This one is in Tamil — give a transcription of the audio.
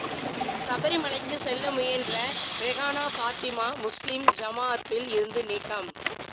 சபரிமலைக்கு செல்ல முயன்ற ரெஹானா பாத்திமா முஸ்லிம் ஜமாஅத்தில் இருந்து நீக்கம்